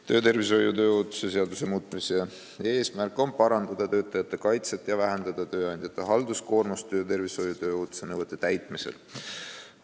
Töötervishoiu ja tööohutuse seaduse muutmise eesmärk on parandada töötajate kaitset ja vähendada tööandjate halduskoormust töötervishoiu ja tööohutuse nõuete täitmisel.